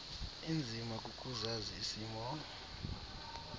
inzima kukuzazi isimo